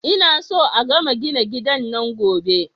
Ina so a gama gina gidan nan Gobe